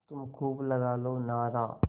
तुम खूब लगा लो नारा